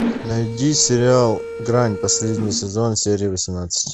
найди сериал грань последний сезон серия восемнадцать